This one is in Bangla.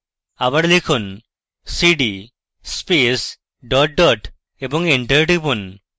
আবার লিখুন cd space dot dot এবং এন্টার টিপুন